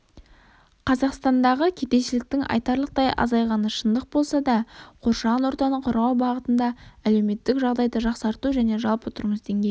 қазақстандағы кедейшіліктің айтарлықтай азайғаны шындық болса да қоршаған ортаны қорғау бағытында әлеуметтік жағдайды жақсарту және жалпы тұрмыс деңгейін